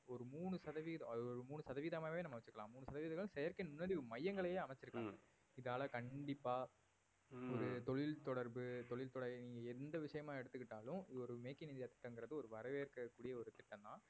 ஒரு மூணு சதவீதம் அது ஒரு மூணு சதவீதமாவே நம்ம வெச்சுக்கலாம் மூணு சதவீதங்கள் செயற்கை நுண்ணறிவு மையங்களயே அமைத்திருக்கலாம் இதால கண்டிப்பா ஒரு தொழில் தொடர்பு தொழில் தொலை~ நீங்க எந்த விஷயமா எடுத்துக்கிட்டாலும் ஒரு make in இந்தியா திட்டம் எங்கிறது ஒரு வரவேற்கக் கூடிய ஒரு திட்டம் தான்